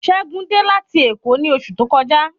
Ṣẹ́gun dé láti èkó ni osu to kọjá